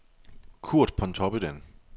Curt Pontoppidan